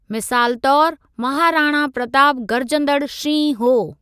मिसाल तौरु महाराणा प्रतापु गर्जंदड़ु शींहुं हो।